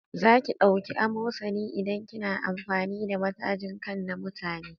Zaki ɗauki amosani idan kina amfani da matajin kai na mutane